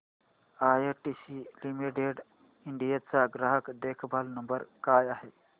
ITC limited India चा ग्राहक देखभाल नंबर काय आहे